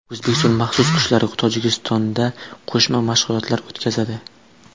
O‘zbekiston maxsus kuchlari Tojikistonda qo‘shma mashg‘ulotlar o‘tkazadi.